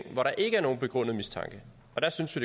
hvor der ikke er nogen begrundet mistanke og der synes vi